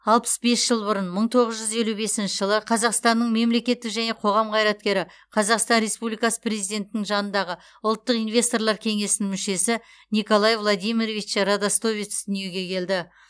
алпыс бес жыл бұрын мың тоғыз жүз елу бесінші қазақстанның мемлекеттік және қоғам қайраткері қазақстан республикасы президентінің жанындағы ұлттық инвесторлар кеңесінің мүшесі николай владимирович радостовец дүниеге келді